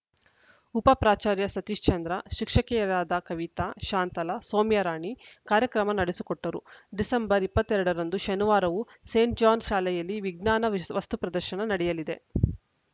ಉಪ ಪ್ರಾಚಾರ್ಯ ಸತೀಶ್ಚಂದ್ರ ಶಿಕ್ಷಕಿಯರಾದ ಕವಿತಾ ಶಾಂತಲಾ ಸೌಮ್ಯರಾಣಿ ಕಾರ್ಯಕ್ರಮ ನಡೆಸಿಕೊಟ್ಟರು ಡಿಸೆಂಬರ್ ಇಪ್ಪತ್ತ್ ಎರಡ ರಂದು ಶನಿವಾರವೂ ಸೇಂಟ್‌ ಜಾನ್ಸ ಶಾಲೆಯಲ್ಲಿ ವಿಜ್ಞಾನ ವಿಸ್ ವಸ್ತು ಪ್ರದರ್ಶನ ನಡೆಯಲಿದೆ